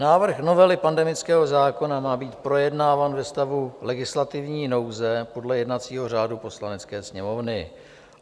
Návrh novely pandemického zákona má být projednáván ve stavu legislativní nouze podle jednacího řádu Poslanecké sněmovny.